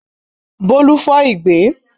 Bólú fọ ìgbín.